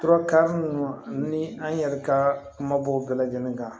Tura ka mun ni an yɛrɛ ka kumabow bɛɛ lajɛlen kan